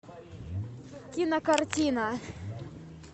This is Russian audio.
кинокартина